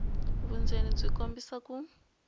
vundzeni byi kombisa ku